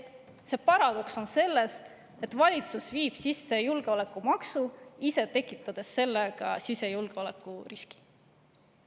Paradoks on selles, et valitsus viib sisse julgeolekumaksu, tekitades ise sellega sisejulgeolekuriski.